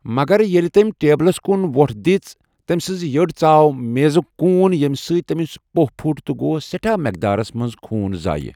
مگر، ییٚلہِ تٔمہِ ٹیبلس کُن وۄٹھ دِژ، تٔمہِ سٕنٛزِ یڈ ژآو میزٗك كوٗن ییٚمہِ سۭتۍ تٔمِس پوٚہ پھوٚٹ تہٕ گوس سٮ۪ٹھاہ مٮ۪قدارس منٛز خوٗن ضایہٕ۔